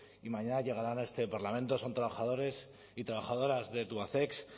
y mañana llegarán a este parlamento son trabajadores y trabajadoras de tubacex